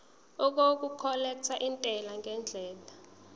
okukhokhela intela ngendlela